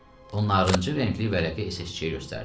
O narıncı rəngli vərəqi SS-çiyə göstərdi.